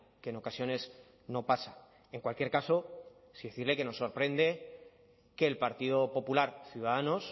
que en ocasiones no pasa en cualquier caso sí decirle que nos sorprende que el partido popular ciudadanos